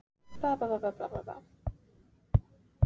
Við mamma þín hittum hann uppi á fæðingardeild.